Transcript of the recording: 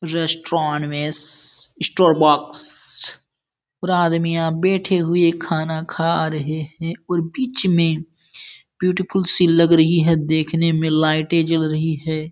Restaurant में सी स्ट्रॉबॉक्स । पूरा आदमियां बैठे हुए खाना खा रहे हैं और बीच में ब्यूटीफुल सी लग रही है देखने में लाइटें जल रही है।